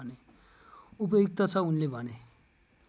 उपयुक्त छ उनले भने